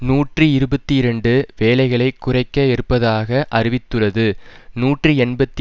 நூற்றி இருபத்தி இரண்டு வேலைகளைக் குறைக்க இருப்பதாக அறிவித்துள்ளது நூற்றி எண்பத்தி